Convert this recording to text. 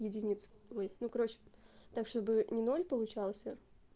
единиц ой ну короче так чтобы не ноль получался